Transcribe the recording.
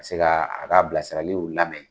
Ka se ka a ka bilasiraliw lamɛn.